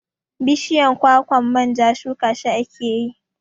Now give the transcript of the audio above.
Bishiyan kwakwan manja shuka shi akeyi